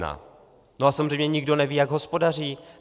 No a samozřejmě nikdo neví, jak hospodaří.